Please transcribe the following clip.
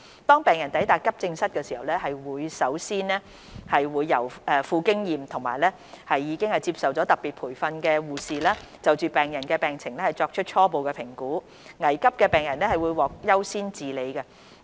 當病人抵達急症室時，會先由富經驗及已接受特別培訓的護士，就病人的病情作出初步評估，危急的病人會獲得優先治理。